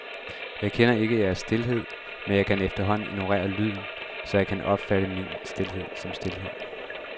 Jeg kender ikke jeres stilhed, men jeg kan efterhånden ignorere lyden, så jeg opfatter min stilhed som stilhed.